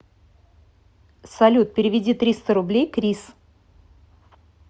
салют переведи триста рублей крис